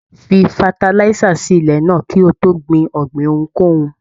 Fí fatalisa sí ilẹ náà kí o tó gbìn ọ̀gbìn ohunkóhun!